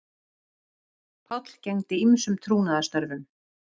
Páll gegndi ýmsum trúnaðarstörfum